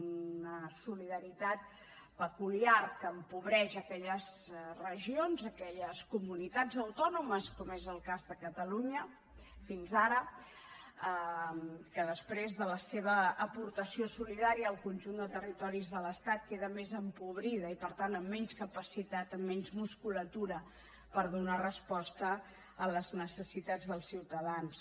una solidaritat peculiar que empobreix aquelles regions aquelles comunitats autònomes com és el cas de catalunya fins ara que després de la seva aportació solidària al conjunt de territoris de l’estat queda més empobrida i per tant amb menys capacitat amb menys musculatura per donar resposta a les necessitats del ciutadans